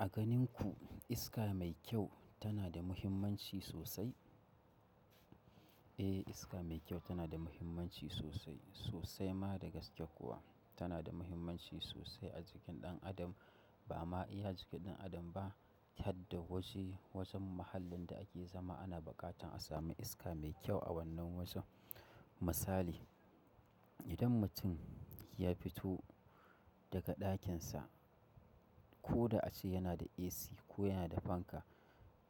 A ganin ku, iska mai kyau tana da muhimmanci sosai? Eh, iska mai kyau tana da muhimmanci sosai, sosai ma da gaske kuwa. Tana da muhimmanci sosai a jikin ɗan adam. Ba ma iya jikin ɗan adam ba, hadda waje, wajen mahallin da ake zama ana buƙatar a sami iska mai kyau a wannan wajen. Misali, idan mutum ya fito daga ɗakin sa, ko da ace yana da AC ko yana da fanka,